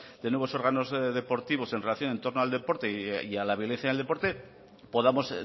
de nuevos órganos deportivos en relación en torno al deporte y a la violencia en el deporte podamos